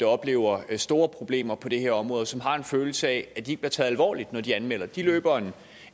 oplever store problemer på det her område og som har en følelse af at de ikke bliver taget alvorligt når de anmelder det de løber